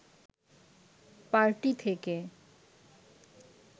party থেকে